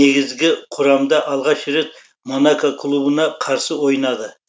негізгі құрамда алғаш рет монако клубына қарсы ойнады